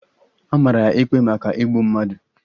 A mara ya ikpe maka igbu mmadu